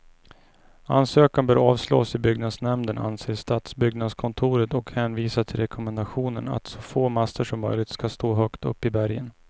Ansökan bör avslås i byggnadsnämnden, anser stadsbyggnadskontoret och hänvisar till rekommendationen att så få master som möjligt skall stå högt uppe i bergen.